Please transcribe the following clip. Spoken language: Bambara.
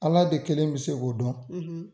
Ala de kelen bɛ se k'o dɔn.